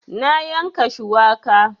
Na yanka shuwaka